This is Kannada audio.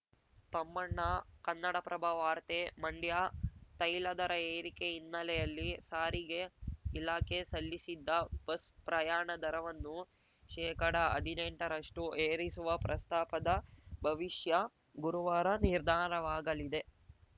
ತಮ್ಮಣ್ಣ ಕನ್ನಡಪ್ರಭ ವಾರ್ತೆ ಮಂಡ್ಯ ತೈಲ ದರ ಏರಿಕೆ ಹಿನ್ನೆಲೆಯಲ್ಲಿ ಸಾರಿಗೆ ಇಲಾಖೆ ಸಲ್ಲಿಸಿದ್ದ ಬಸ್‌ ಪ್ರಯಾಣದರವನ್ನು ಶೇಕಡಅದಿನೆಂಟರಷ್ಟುಏರಿಸುವ ಪ್ರಸ್ತಾಪದ ಭವಿಷ್ಯ ಗುರುವಾರ ನಿರ್ಧಾರವಾಗಲಿದೆ